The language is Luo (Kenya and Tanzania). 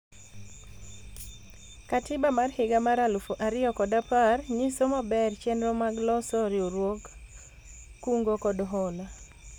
katiba mar higa mar alufu ariyo kod apar nyiso maber chenro mag loso riwruog kungo kod hola